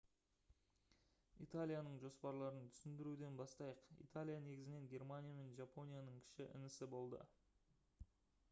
италияның жоспарларын түсіндіруден бастайық. италия негізінен германия мен жапонияның «кіші інісі» болды